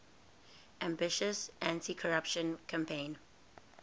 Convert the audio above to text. ambitious anticorruption campaign